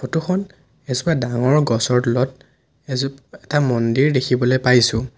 ফটোখন এজোপা ডাঙৰ গছৰ তলত এজো এটা মন্দিৰ দেখিবলৈ পাইছোঁ।